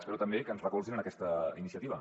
espero també que ens recolzin en aquesta iniciativa